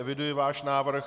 Eviduji váš návrh.